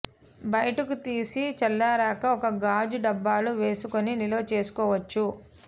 బయటకు తీసి చల్లారాక ఒక గాజు డబ్బాలో వేసుకుని నిలవ చేసుకోవచ్చు